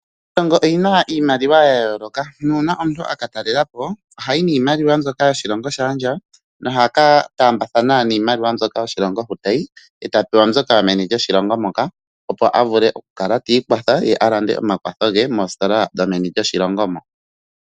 Iilongo oyina iimaliwa ya yooloka nuuna omuntu aka talelapo ohayi niimaliwa mbyoka yoshilongo shaandjawo noha ka taambathana niimaliwa mbyoka yoshilongo hoka tayi eta pewa mbyoka yomeni lyoshilongo moka opo avule okukala ti ikwatha ye alande omakwatho ge moositola dhomeni lyoshilongo moka.